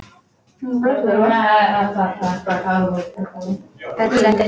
Örn settist upp.